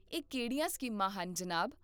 ਇਹ ਕਿਹੜੀਆਂ ਸਕੀਮਾਂ ਹਨ, ਜਨਾਬ?